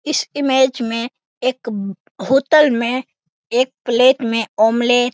इस इमेज में एक होटल में एक प्‍लेट में ऑमलेट --